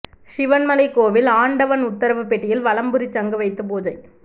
சிவன்மலை கோவில் ஆண்டவன் உத்தரவு பெட்டியில் வலம்புரி சங்கு வைத்து பூஜை